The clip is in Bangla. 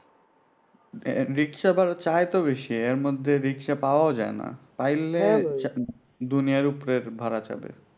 রিক্সা ভাড়া চাই তো বেশি এর মধ্যে রিক্সা পাওয়াও যায় না পাইলে দুনিয়ার উপরের ভাড়া চাবে